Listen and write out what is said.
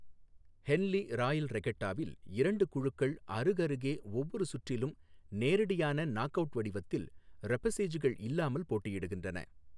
Henle royal ரெகட்டாவில் இரண்டு குழுக்கள் அருகருகே ஒவ்வொரு சுற்றிலும் நேரடியான நாக் அவுட் வடிவத்தில் ரெபசேஜ்கள் இல்லாமல் போட்டியிடுகின்றன.